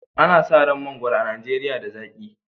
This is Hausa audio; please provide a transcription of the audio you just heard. An san mangwaro a Najeriya da zaki